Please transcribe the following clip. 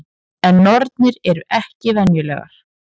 En nornir eru ekki venjulegar.